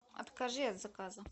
откажи от заказа